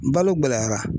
Balo gɛlɛyara